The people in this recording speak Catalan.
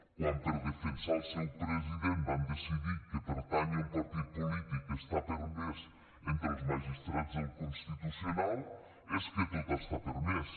quan per defensar el seu president van decidir que pertànyer a un partit polític està permès entre els magistrats del constitucional és que tot està permès